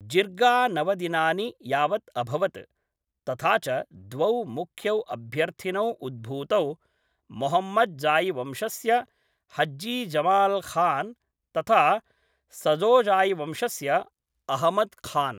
जिर्गा नवदिनानि यावत् अभवत्, तथा च द्वौ मुख्यौ अभ्यर्थिनौ उद्भूतौ मोहम्मदजा़यिवंशस्य हज्जी जमाल् खान्, तथा सदोज़ायिवंशस्य अहमद् खान्।